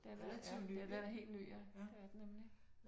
Den er ja den er da helt ny ja det er den nemlig